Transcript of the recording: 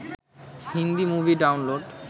Hindi movie download